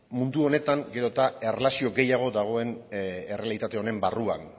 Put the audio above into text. mundu honetan gero eta erlazioa gehiago dagoen errealitate honen barruan